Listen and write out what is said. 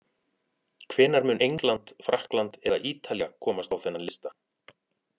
Hvenær mun England, Frakkland eða Ítalía komast á þennan lista?